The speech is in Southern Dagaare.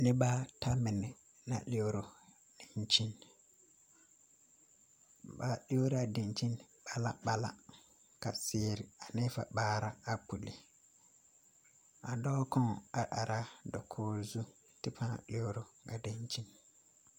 Noba at a la lɔɔrɔ dankyini ba toore la a dankyini mala mala ka zeɛ ane vaare a pulle a dɔɔ kaŋ a ara dakoo zu kyɛ ka ba lɔɔrɔ a dankyini